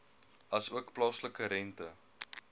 asook plaaslike rente